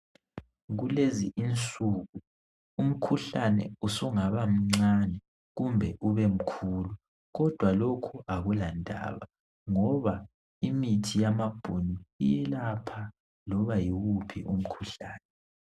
Kulezi insuku umkhuhlane usungabamncane kumbe ubemkhulu kidwa lokhu akulandaba ngoba imithi yamabhunu iyelapha loba yiwuphi umkhuhlane.